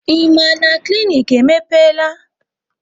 Ị ma na klinik emepeela?